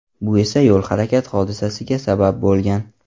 Bu esa yo‘l-harakat hodisasiga sabab bo‘lgan.